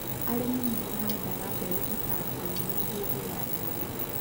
Arĩmi nĩ marabatara mbeũ itangĩũrira hĩndĩ ya riũa